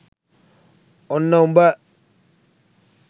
ඔන්න උඹ